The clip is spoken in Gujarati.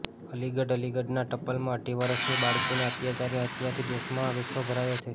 અલીગઢઃ અલીગઢના ટપ્પલમાં અઢી વર્ષની બાળકીની અત્યાચારી હત્યાથી દેશમાં ગુસ્સો ભરાયો છે